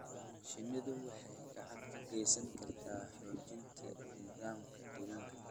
Shinnidu waxay gacan ka geysan kartaa xoojinta nidaamka deegaanka.